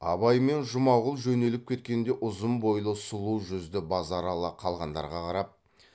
абай мен жұмағұл жөнеліп кеткенде ұзын бойлы сұлу жүзді базаралы қалғандарға қарап